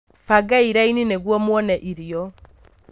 bangai raini nĩguo muone irio.